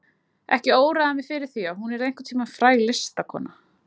Ekki óraði mig fyrir því að hún yrði einhvern tíma fræg listakona.